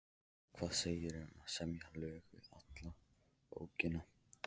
Hvað segirðu um að semja lög við alla bókina?